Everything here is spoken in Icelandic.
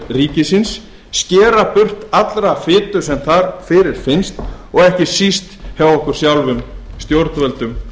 ríkisins skera burt alla fitu sem þar fyrirfinnst og ekki síst hjá okkur sjálfum stjórnvöldum